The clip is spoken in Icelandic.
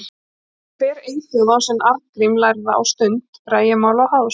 En hver eyþjóð á sinn Arngrím lærða á stund rægimála og háðs.